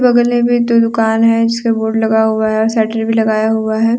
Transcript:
गली में जो दुकान है जिसके बोर्ड लगा हुआ है सेटर भी लगाया हुआ है।